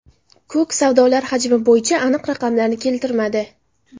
Kuk savdolar hajmi bo‘yicha aniq raqamlarni keltirmadi.